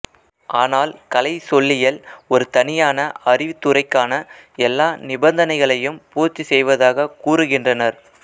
ஆனால் கலைச்சொல்லியல் ஒரு தனியான அறிவுத்துறைக்கான எல்லா நிபந்தனைகளையும் பூர்த்தி செய்வதாகக் கூறுகின்றனர்